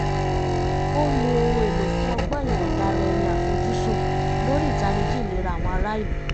ó nu ohun èlò fún ọgbọ́n ìyọ̀ǹda ara ẹni àfojúsùn lórí ìtanijí ìlera àwọn ará ìlú